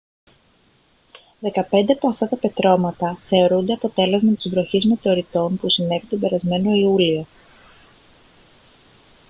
δεκαπέντε από αυτά τα πετρώματα θεωρούνται αποτέλεσμα της βροχής μετεωριτών που συνέβη τον περασμένο ιούλιο